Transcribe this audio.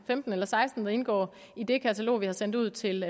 femten eller seksten der indgår i det katalog vi har sendt ud til